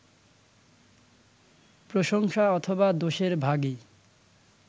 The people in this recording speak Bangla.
প্রশংসা অথবা দোষের ভাগী